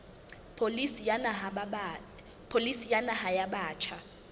pholisi ya naha ya batjha